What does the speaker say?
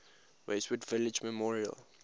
westwood village memorial